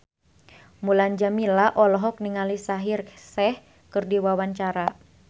Mulan Jameela olohok ningali Shaheer Sheikh keur diwawancara